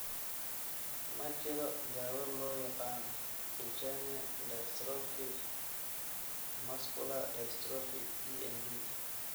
Ma jiro daawo loo yaqaan Duchenne dystrophy muscular dystrophy (DMD).